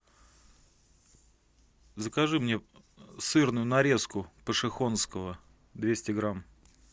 закажи мне сырную нарезку пошехонского двести грамм